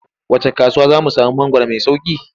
Wacce kasuwa za mu sami mangwaro mai sauƙi?